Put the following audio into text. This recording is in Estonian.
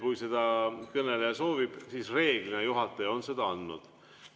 Kui seda kõneleja soovib, siis reeglina juhataja on seda andnud.